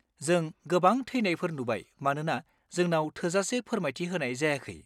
जों गोबां थैनायफोर नुबाय मानोना जोंनाव थोजासे फोरमायथि होनाय जायाखै।